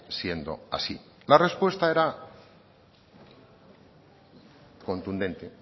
siendo así la respuesta era contundente